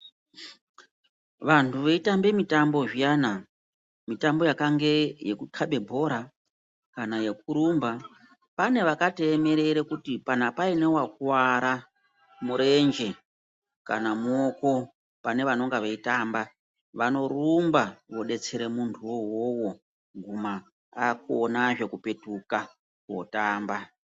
Vantu vaitambe mutambo zviyana mutambo yakange yekukaba bhora kana yekurumba pane vakatoemerere kuti kana paine wakuwara murenje kana muoko pane vanonga vaitambe vanorumba kudetsere muntu wona iwowo akonezve kupetuka kotamba.